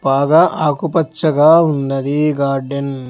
బాగా ఆకుపచ్చగా ఉన్నది గార్డెన్ .